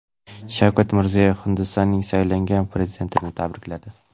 Shavkat Mirziyoyev Hindistonning saylangan prezidentini tabrikladi.